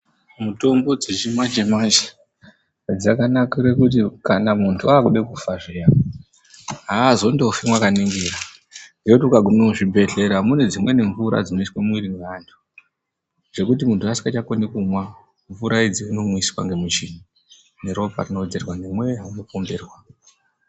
Mutombo dzechimanje-manje dzakanakira kuti kana muntu akude kufa zviya hazondofi mwakaningira. Ngekuti ukagume kuzvibhedhlera mune dzimweni mvura dzinoiswe mumwiri mweantu. Dzekuti muntu asingachakoni kumwa mvura idzi anomwiswa ngemuchini neropa rinovedzerwa nemweya uno pomberwa.